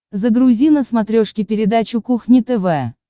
загрузи на смотрешке передачу кухня тв